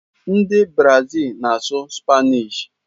Ndị Brazil na-asụ Spanish.